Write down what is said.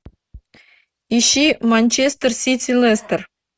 ищи манчестер сити лестер